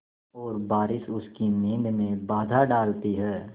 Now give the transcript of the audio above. और बारिश उसकी नींद में बाधा डालती है